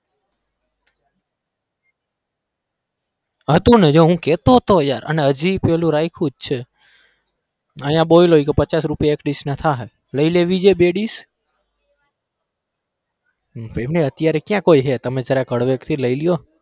હતું ને જો હું કેતો તો હતો યાર અને હજી પેલું રાખ્યું છે આયા બોલ્યો પચાસ રૂપિયા એક dish ના થાહે લઇ લેવી છે બે dish અત્યારે ક્યાં કોઈ હે તમે જરાક હળવે થી લઇ લો